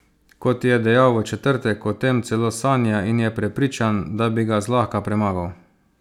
Kot je dejal v četrtek, o tem celo sanja in je prepričan, da bi ga zlahka premagal.